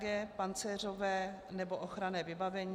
g) pancéřové nebo ochranné vybavení,